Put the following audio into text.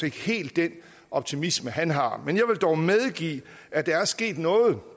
ikke helt den optimisme han har men jeg vil dog medgive at der er sket noget